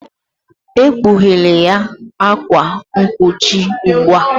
Ekpughela ya akwa mkpuchi ugbu a!